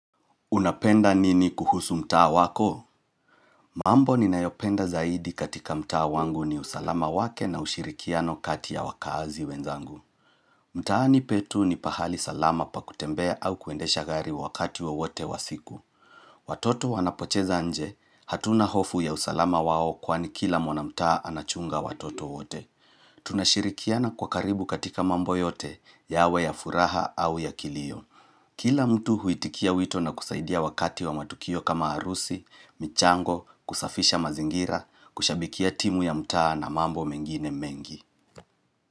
Unapenda nini kuhusu mtaa wako? Mambo ninayopenda zaidi katika mtaa wangu, ni usalama wake na ushirikiano kati ya wakaazi wenzangu. Mtaani petu ni pahali salama pa kutembea au kuendesha gari wakati wowote wa siku. Watoto wanapocheza nje, hatuna hofu ya usalama wao kwani kila mwanamtaa anachunga watoto wote. Tunashirikiana kwa karibu katika mambo yote, yawe ya furaha au ya kilio. Kila mtu huitikia wito na kusaidia wakati wa matukio kama arusi, michango, kusafisha mazingira, kushabikia timu ya mtaa na mambo mengine mengi.